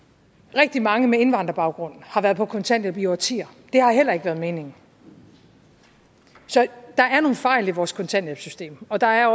rigtig mange med indvandrerbaggrund har været på kontanthjælp i årtier det har heller ikke været meningen så der er nogle fejl i vores kontanthjælpssystem og der er